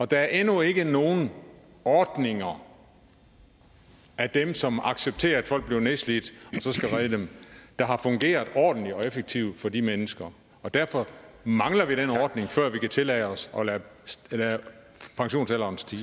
der er endnu ikke nogen ordninger af dem som accepterer at folk bliver nedslidt og så skal redde dem der har fungeret ordentligt og effektivt for de mennesker derfor mangler vi den ordning før vi kan tillade os at lade pensionsalderen stige